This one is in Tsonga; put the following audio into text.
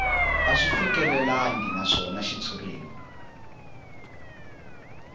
a swi fikelelangi naswona xitshuriwa